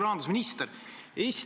Hea peaminister!